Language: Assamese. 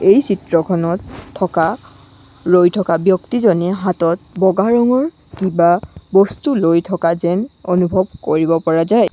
এই চিত্ৰখনত থকা ৰৈ থকা ব্যক্তিজনীয়ে হাতত বগা ৰঙৰ কিবা বস্তু লৈ থকা যেন অনুভৱ কৰিব পৰা যায়।